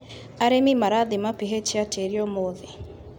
Arĩmi marathima pH ya tĩri ũmũthĩ.